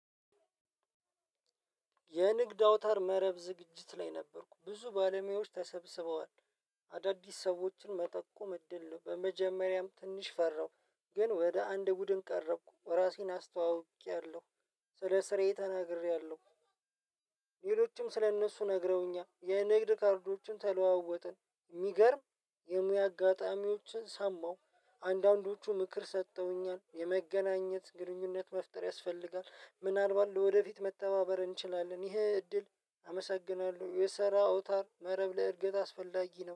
የንግድ አውታር መረብ ዝግጅት ላይ ነበርኩ ብዙ ባለሙያዎች ተሰብስበዋል አዳድስ ሰዎችን መጠቆም እድል ነው። በመጀመሪያም ትንሽ ፈራሁ ግን ወደ አንድ ቡድን ቀረብኩ ራሴን አስተዋውቄያለሁ ስለ ስሬ ተናግሬያለሁ። እንግዶቹም ስለ እነሱ ነግረውኛል የንግድ ባንኮችን ተለዋወጥን። ሚገርም የሙያ አጋጣሚዎችን ሰማሁ አንዳንዶቹ ምክር ሰተውኛል የመገናኘት ግንኙነት መፍጠር ያስፈልጋል። ምናልባት ለወደፊት መተባበር እንችላለን። ይሄ እድል አመሰግናለሁ የሰራ ኦውታር መረብ ላይ እድገት አስፈላጊ ነው